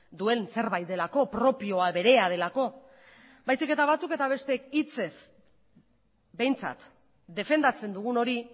duen zerbait delako propioa berea delako baizik eta batzuk eta besteek hitzez behintzat defendatzen dugun hori